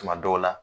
Tuma dɔw la